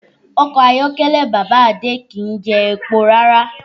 Ọkọ̀ ayọ́kẹ́lẹ́ bàbá Adé kì í jẹ epo rárá